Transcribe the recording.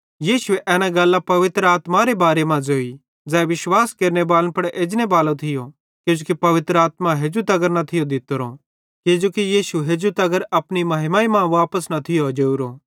यीशुए एना गल्लां पवित्र आत्मारे बारे मां ज़ोई ज़ै विश्वास केरेने बालन पुड़ एजनेबाली थी किजोकि पवित्र आत्मा हेजू तगर न थी दित्तोरी किजोकि यीशु हेजू तगर अपनी महिमा मां वापस न थियो जोरोए